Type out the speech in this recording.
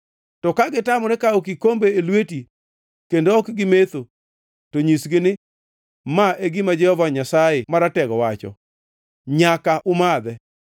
To ka gitamore kawo kikombe e lweti kendo ok gimetho, to nyisgi ni, ‘Ma e gima Jehova Nyasaye Maratego wacho: Nyaka umadhe!